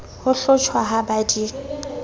ho hlotjhwa ha ba di